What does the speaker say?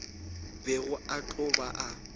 bego a tlo ba a